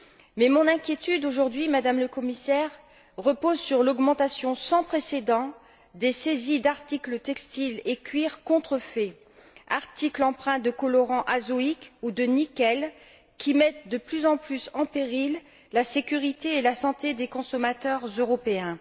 Mais mon inquiétude aujourd'hui, Madame le Commissaire, repose sur l'augmentation sans précédent des saisies d'articles de textile et de maroquinerie contrefaits, articles imprégnés de colorants azoïques ou de nickel, qui mettent de plus en plus en péril la sécurité et la santé des consommateurs européens.